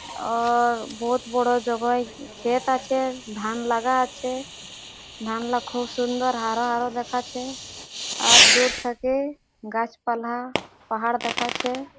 অ-অ-র বহুত বড় জবই ক্ষেত আছে ধান লাগা আছে ধান লা খুব সুন্দর হারা হারা দাখাছে আর দূর থেকে গাছপালা পাহাড় দেখাছে ।